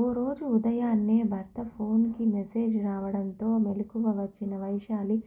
ఓ రోజు ఉదయాన్నే భర్త ఫోన్కి మెసేజ్ రావడంతో మెలకువ వచ్చిన వైశాలి